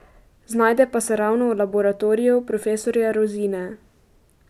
Znajde pa se ravno v laboratoriju profesorja Rozine.